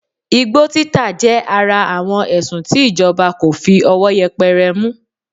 Igbó títà jẹ́ ara àwọn èsùn tí ìjọba kò fi ọwọ́ yẹpẹrẹ mú